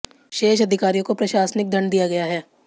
शेष अधिकारियों को प्रशासनिक दंड दिया गया है